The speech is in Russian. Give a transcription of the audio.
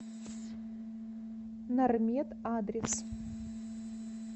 нармед адрес